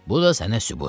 Bu da sənə sübut.